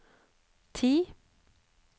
ti